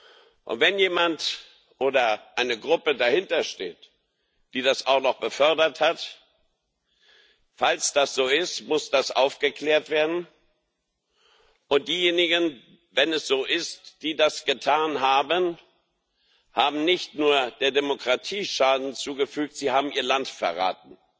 Und wenn jemand oder eine Gruppe dahinter steht, die das auch noch befördert hat Falls das so ist, muss das aufgeklärt werden, und diejenigen wenn es so ist die das getan haben, haben nicht nur der Demokratie Schaden zugefügt, sie haben ihr Land verraten,